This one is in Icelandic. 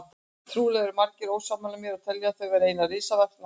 Trúlega eru margir ósammála mér og telja þau vera eina risavaxna áhættu.